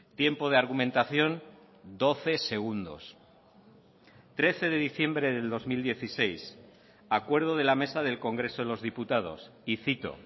tiempo de argumentación doce segundos trece de diciembre del dos mil dieciséis acuerdo de la mesa del congreso de los diputados y cito